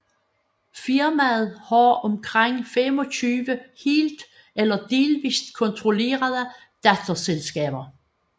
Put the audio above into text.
Firmaet har omkring 25 helt eller delvist kontrollerede datterselskaber